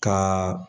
Ka